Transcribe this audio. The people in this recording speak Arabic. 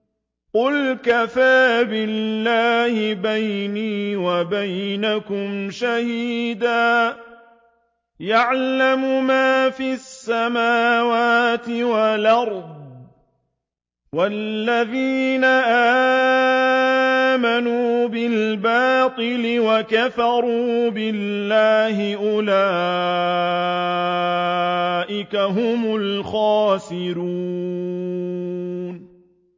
قُلْ كَفَىٰ بِاللَّهِ بَيْنِي وَبَيْنَكُمْ شَهِيدًا ۖ يَعْلَمُ مَا فِي السَّمَاوَاتِ وَالْأَرْضِ ۗ وَالَّذِينَ آمَنُوا بِالْبَاطِلِ وَكَفَرُوا بِاللَّهِ أُولَٰئِكَ هُمُ الْخَاسِرُونَ